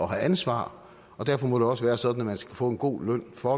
have ansvar og derfor må det også være sådan at man skal kunne få en god løn for